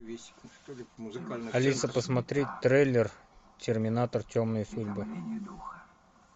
алиса посмотреть трейлер терминатор темные судьбы